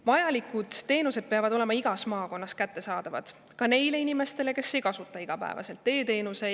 Vajalikud teenused peavad olema igas maakonnas kättesaadavad ka neile inimestele, kes ei kasuta igapäevaselt e-teenuseid.